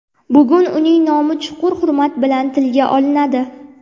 Bugun uning nomi chuqur hurmat bilan tilga olinadi.